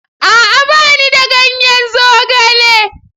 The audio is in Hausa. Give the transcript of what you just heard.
A'a! Ba ni da ganyen zogale.